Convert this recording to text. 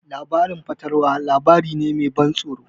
Labarin fatalwa labari ne me ban tsoro.